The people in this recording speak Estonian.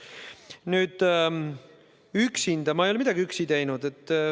Nüüd, ma ei ole midagi üksi teinud.